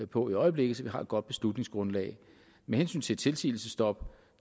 på i øjeblikket så vi har et godt beslutningsgrundlag med hensyn til tilsigelsesstop